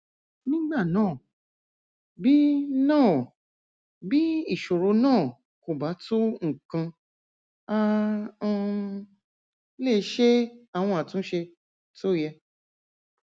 nígbà náà bí náà bí ìṣòro náà kò bá tó nǹkan a um lè ṣe àwọn àtúnṣe tó yẹ